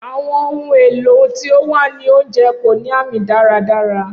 Awọn ohun elo ti o wa ni ounjẹ ko ni aami daradara.